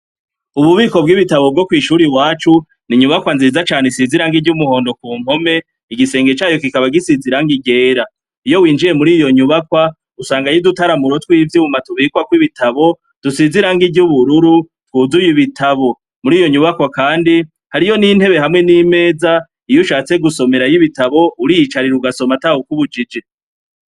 Mu bubiko bw'ibitabo bwo kw'ishure iwacu inyubakwa nziza cane isize ibara ry'umuhondo kumpome, igisenge cayo kikaba gisize irangi ryera. Iyo winjiye muriyo nyubakwa, usangayo udutaramuro tw'ivyuma tubikwako ibitabo dusize irangi ry'ubururu twuzuye ibitabo. Muriyo nyubakwa kandi hariyo n'intebe hamwe n'imeza iyushatse gusomerayo ibitabo, uriyicarira ugasoma neza atawukubujijie.